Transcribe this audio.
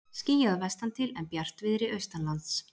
Skýjað vestantil en bjartviðri austanlands